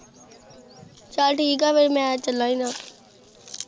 ਚਾਲ ਠੀਕ ਆ ਫੇਰ ਮੈਂ ਚਲਾ ਆ